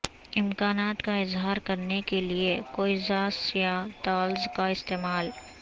امکانات کا اظہار کرنے کے لئے کوئزاس یا طالز کا استعمال